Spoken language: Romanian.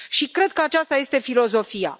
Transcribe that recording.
Cred că aceasta este filozofia.